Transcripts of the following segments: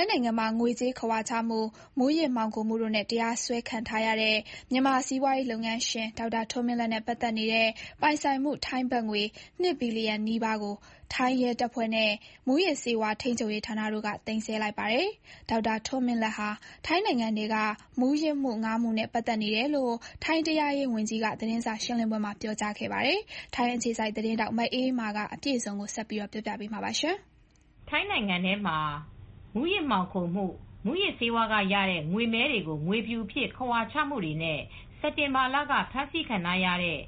င်းနိုင်ငံမှာ ငွေကြေးခဝါချမှု၊ မူးယစ်မှောင်ခိုမှုတို့နဲ့ တရားစွဲခံထားရတဲ့ မြန်မာစီးပွားရေးလုပ်ငန်းရှင် ဒေါက်တာထွန်းမင်းလတ်နဲ့ ပတ်သက်နေတဲ့ပိုင်ဆိုင်မှု ထိုင်းဘတ်ငွေ ၂ ဘီလျံနီးပါးကို ထိုင်းရဲတပ်ဖွဲ့နဲ့ မူးယစ်ဆေးဝါးထိန်းချုပ်ရေးဌာနတို့က သိမ်းဆည်းလိုက်ပါတယ်။ ဒေါက်တာထွန်းမင်းလတ်ဟာ ထိုင်းနိုင်ငံထဲက မူးယစ်မှု ၅ မှုနဲ့ပတ်သက်နေတယ်လို့ ထိုင်းတရားရေးဝန်ကြီးက သတင်းစာရှင်းပွဲမှာ ပြောကြားခဲ့ပါတယ်။ ထိုင်းအခြေစိုက်သတင်းထောက် မအေးအေးမာက အပြည့်အစုံတင်ပြပေးထားပါတယ်။ ထိုင်းနိုင်ငံမှာ မူးယစ်မှောင်ခိုကူးမှု၊ မူယစ်ဆေးဝါးကရတဲ့ ငွေမည်းတွေကိုငွေဖြူအဖြစ်ခဝါချမှုတွေနဲ့ စက်တင်ဘာလက ဖမ်းဆီးခံထားရတဲ့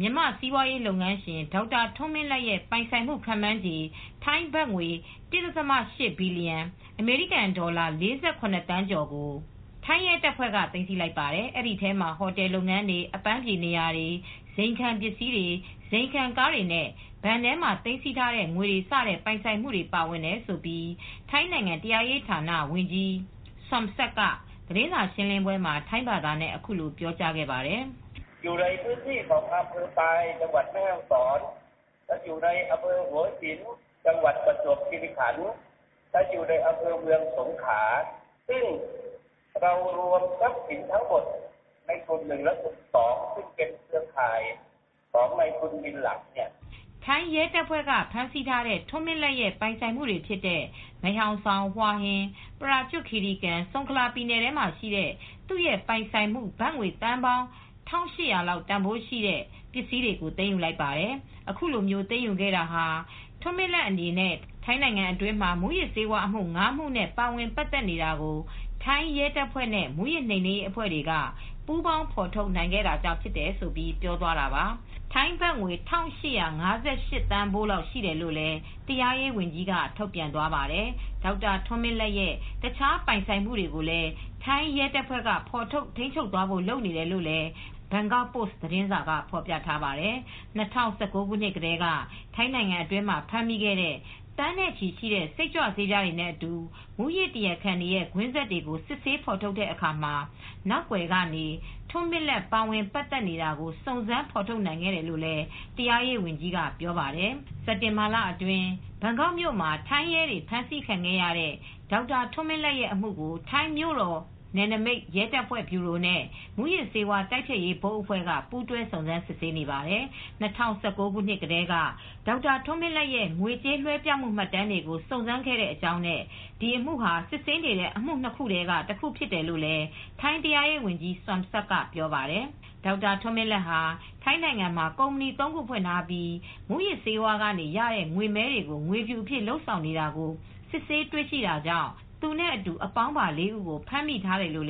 မြန်မာစီးပွားရေးလုပ်ငန်းရှင် ဒေါက်တာထွန်းမင်းလတ်ရဲ့ပိုင်ဆိုင်မှု ခန့်မှန်းခြေ ထိုင်းဘတ်ငွေ ၁.၈ ဘီလျံ၊ အမေရိကန်ဒေါ်လာ ၄၇ သန်းကျော်ကို ထိုင်းရဲတပ်ဖွဲ့က သိမ်းဆည်းလိုက်ပါတယ်။ အဲဒီထဲမှာ ဟိုတယ်လုပ်ငန်းတွေ၊ အပန်းဖြေနေရာတွေ၊ ဇိမ်ခံပစ္စည်းတွေ၊ ဇိမ်ခံကားတွေနဲ့ ဘဏ်ထဲမှာ သိမ်းဆည်းထားတဲ့ ငွေတွေ စတဲ့ပိုင်ဆိုင်မှုတွေ ပါဝင်တယ်လို့ ထိုင်းနိုင်ငံ တရားရေးဌာနဝန်ကြီး Somsak Thepsutin ကသတင်းစာရှင်းလင်းပွဲမှာ ထိုင်းဘာသာနဲ့ ပြောကြားခဲ့ပါတယ်။ “ထိုင်းရဲတပ်ဖွဲ့ကဖမ်းဆီးထားတဲ့ ထွန်းမင်းလတ်ရဲ့ပိုင်ဆိုင်မှုတွေဖြစ်တဲ့ မဲဟောင်ဆောင်၊ ဟွာဟင်၊ ပရာကျွတ်ခီရီကန်၊ ဆုန်ခလာပြည်နယ်တွေမှာရှိတဲ့ သူ့ရဲ့ပိုင်ဆိုင်မှု ဘတ်သန်းပေါင်း ၁,၈၀၀ လောက်တန်ဖိုးရှိတဲ့ပစ္စည်းတွေကို သိမ်းယူလိုက်ပါတယ်။ အခုလိုသိမ်းယူခဲ့ရတာဟာ ထွန်းမင်းလတ်အနေနဲ့ ထိုင်းနိုင်ငံတွင်းမှာ မူးယစ်ဆေးဝါးအမှု ၅ မှုနဲ့ ပါဝင်ပတ်သက်နေတာကို ထိုင်းရဲတပ်ဖွဲ့နဲ့ မူးယစ်နှိမ်နင်းရေးအဖွဲ့တွေက ပူးပေါင်းပေါင်းဖော်ထုတ်နိုင်ခဲ့တာကြောင့်ဖြစ်တယ်။” လို့ ပြောသွားတာပါ။” ထိုင်းဘတ်ငွေ ၁,၈၅၈ သန်းဖိုးလောက်ရှိတယ်လို့လည်း တရားရေးဝန်ကြီးက ထုတ်ပြန်သွားပါတယ်။ ဒေါက်တာထွန်းမင်းလတ်ရဲ့ တခြားပိုင်ဆိုင်မှုတွေကိုလည်း ထိုင်းရဲတပ်ဖွဲ့က ဖော်ထုတ် ထိန်းချုပ်သွားဖို့လုပ်နေတယ်လို့ Bangkok Post သတင်းစာမှာ ဖော်ပြထားပါတယ်။ ၂၀၁၉ ခုနှစ်ကတည်းက ထိုင်းနိုင်ငံအတွင်မှာဖမ်းမိခဲ့တဲ့ သန်းနဲ့ချီတဲ့ စိတ်ကြွဆေးပြားတွေနဲ့အတူ မူးယစ်တရားခံတွေရဲ့ကွင်းဆက်တွေကို စစ်ဆေးဖော်ထုတ်တဲ့အခါမှာ နောက်ကွယ်ကနေ ထွန်းမင်းလတ်ပါဝင်ပတ်သက်နေတာ စုံစမ်းဖေါ်ထုတ်နိုင်ခဲ့တယ်လို့လည်း တရားရေးဝန်ကြီးက ပြောပါတယ်။ စက်တင်ဘာလအတွင်း ဘန်ကောက်မြို့မှာ ထိုင်းရဲတွေ ဖမ်းဆီးခံခဲ့ရတဲ့ ဒေါက်တာထွန်းမင်းလတ်ရဲ့အမှုကို ထိုင်းမြို့တော်နယ်နမိတ် ရဲတပ်ဖွဲ့ ဗျူရိုနဲ့ မူးယစ်ဆေးဝါး တိုက်ဖျက်ရေး ဘုတ်အဖွဲ့က ပူးတွဲ စုံစမ်းစစ်ဆေးနေပါတယ်။ ၂၀၁၉ ခုနှစ်ကတည်းက ဒေါက်တာထွန်းမင်းလတ်ရဲ့ ငွေကြေးလွှဲပြောင်းမှု မှတ်တမ်းတွေကို စုံစမ်းခဲ့တဲ့အကြောင်းနဲ့ ဒီအမှုဟာ စစ်ဆေးနေတဲ့အမှု ၂ ခုထဲက တခုဖြစ်တယ်လို့ ထိုင်း တရားရေးဝန်ကြီး Somsak Thepsutin က ပြောပါတယ်။ ဒေါက်တာထွန်းမင်းလတ်ဟာ ထိုင်းနိုင်ငံမှာ ကုမ္ပဏီ (၃) ခုဖွင့်ထားပြီး မူးယစ် ဆေးဝါးကနေရတဲ့ငွေမည်းတွေကိုငွေဖြူအဖြစ်လုပ်ဆောင်နေတာကို စစ်ဆေးတွေ့ရှိတာကြောင့် သူနဲ့အတူ အပေါင်းပါ ၄ ဦးကို ဖမ်းမိထားတယ်လို့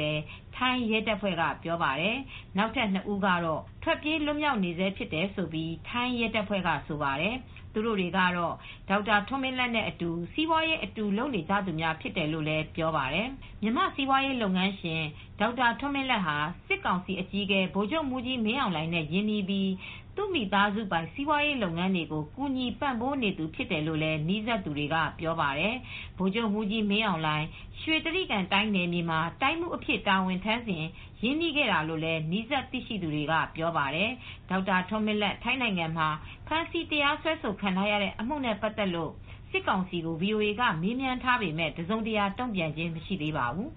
ထိုင်းရဲတပ်ဖွဲ့ကပြောပါတယ် ။ နောက်ထပ် ၂ ဦးကတော့ ထွက်ပြေး လွတ်မြောက်နေဆဲဖြစ်တယ်လို့ ထိုင်းရဲတပ်ဖွဲ့ကဆိုပါတယ်။ သူတို့တွေကတော့ ဒေါက်တာထွန်းမင်းလတ်နဲ့အတူ စီးပွာရေးအတူလုပ်နေသူများဖြစ်တယ်လို့ ပြောပါတယ်။ မြန်မာစီးပွားရေးလုပ်ငန်းရှင် ဒေါက်တာထွန်းမင်းလတ်ဟာ စစ်ကောင်စီအကြီးအကဲ ဗိုလ်ချုပ်မှူးကြီး မင်းအောင်လှိုင်နဲ့ရင်းနှီးပြီး သူ့မိသားစုပိုင် စီးပွားရေးလုပ်ငန်းတွေကို ကူညီပံ့ပိုးနေသူဖြစ်တယ်လို့ နီးစပ်သူတွေက ပြောပါတယ်။ ဗိုလ်ချုပ်မှူးကြီးမင်းအောင်လှိုင် ရွှေတြိဂံတိုင်းနယ်မြေမှာ တိုင်းမှူးအဖြစ် တာဝန်ထမ်းစဉ် ရင်းနှီးခဲ့တာဖြစ်လို့ နီးစပ်သိရှိသူတွေက ပြောပါတယ်။ ဒေါက်တာထွန်းမင်းလတ် ထိုင်းနိုင်ငံမှာ ဖမ်းဆီး တရားစွဲခံထားရတဲ့ အမှုနဲ့ပတ်သက်လို့ စစ်ကောင်စီကို VOA က မေးမြန်းထားပေမယ့် တစုံတရာတုံ့ပြန်ခြင်း မရှိသေးပါဘူး